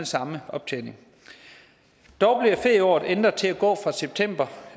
samme optjening dog bliver ferieåret ændret til at gå fra september